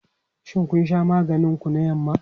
Shin kun sha maganin ku na yamma?